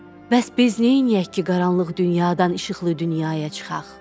bəs biz neyniyək ki, qaranlıq dünyadan işıqlı dünyaya çıxaq?